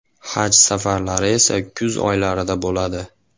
Haj safari esa kuz oylarida bo‘ladi.